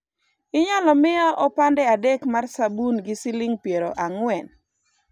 inyalo miya opande adek mar sabun gi siling' piero ang'wen?